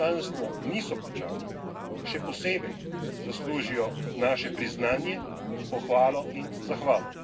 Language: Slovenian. poslanstvo niso plačani, še posebej zaslužijo naše priznanje, pohvalo in zahvalo.